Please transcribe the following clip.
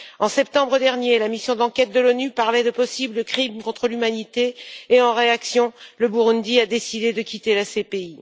En septembre dernier, la mission d'enquête de l'ONU parlait de possibles crimes contre l'humanité et, en réaction, le Burundi a décidé de quitter la CPI.